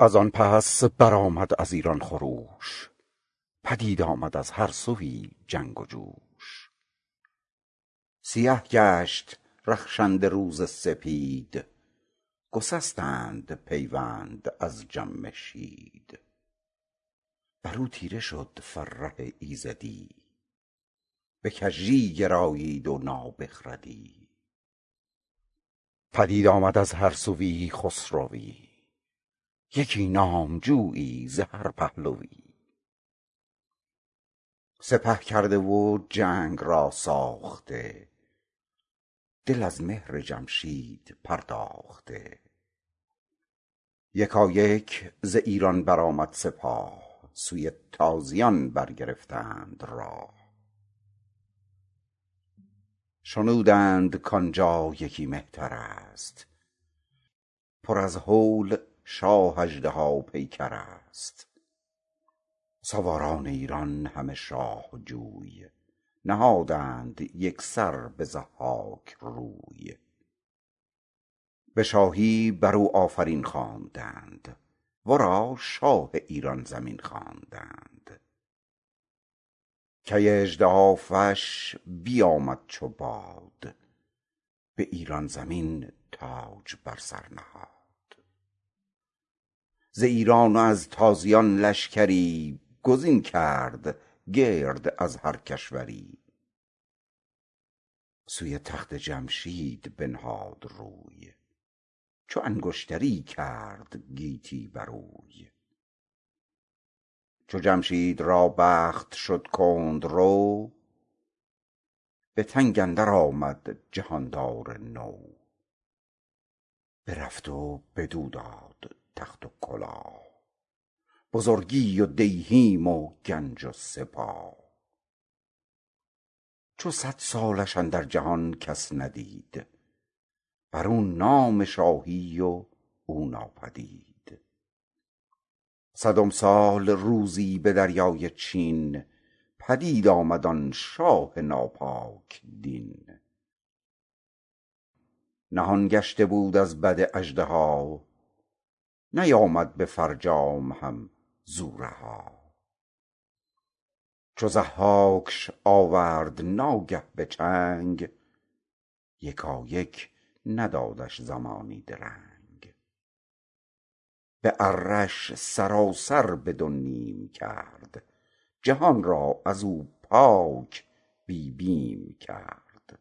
از آن پس برآمد ز ایران خروش پدید آمد از هر سویی جنگ و جوش سیه گشت رخشنده روز سپید گسستند پیوند از جمشید بر او تیره شد فره ایزدی به کژی گرایید و نابخردی پدید آمد از هر سویی خسروی یکی نامجویی ز هر پهلوی سپه کرده و جنگ را ساخته دل از مهر جمشید پرداخته یکایک ز ایران برآمد سپاه سوی تازیان برگرفتند راه شنودند کان جا یکی مهتر است پر از هول شاه اژدها پیکر است سواران ایران همه شاه جوی نهادند یک سر به ضحاک روی به شاهی بر او آفرین خواندند ورا شاه ایران زمین خواندند کی اژدهافش بیامد چو باد به ایران زمین تاج بر سر نهاد از ایران و از تازیان لشکری گزین کرد گرد از همه کشوری سوی تخت جمشید بنهاد روی چو انگشتری کرد گیتی بروی چو جمشید را بخت شد کندرو به تنگ اندر آمد جهاندار نو برفت و بدو داد تخت و کلاه بزرگی و دیهیم و گنج و سپاه چو صد سالش اندر جهان کس ندید بر او نام شاهی و او ناپدید صدم سال روزی به دریای چین پدید آمد آن شاه ناپاک دین نهان گشته بود از بد اژدها نیامد به فرجام هم ز او رها چو ضحاکش آورد ناگه به چنگ یکایک ندادش زمانی درنگ به اره ش سراسر به دو نیم کرد جهان را از او پاک بی بیم کرد